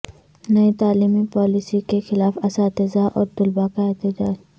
نئی تعلیمی پالیسی کے خلاف اساتذہ اور طلبہ کا احتجاج